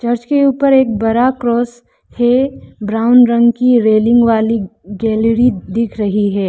Church के ऊपर एक बड़ा क्रॉस है ब्राउन रंग की रेलिंग वाली गैलरी दिख रही है।